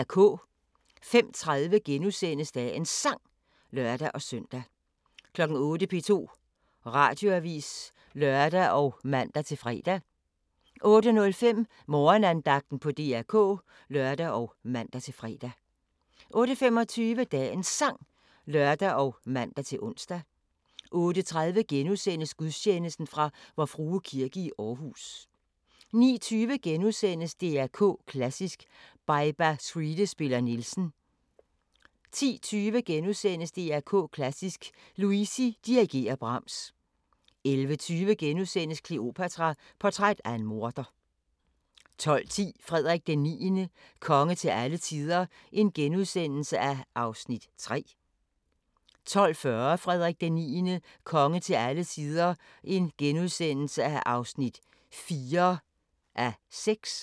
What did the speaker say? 05:30: Dagens Sang *(lør-søn) 08:00: P2 Radioavis (lør og man-fre) 08:05: Morgenandagten på DR K (lør og man-fre) 08:25: Dagens Sang (lør og man-ons) 08:30: Gudstjeneste fra Vor Frue Kirke, Aarhus * 09:20: DR K Klassisk: Baiba Skride spiller Nielsen * 10:20: DR K Klassisk: Luisi dirigerer Brahms * 11:20: Kleopatra: Portræt af en morder * 12:10: Frederik IX – konge til alle tider (3:6)* 12:40: Frederik IX – konge til alle tider (4:6)*